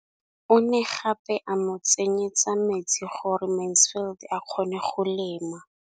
O ne gape a mo tsenyetsa metsi gore Mansfield a kgone go lema.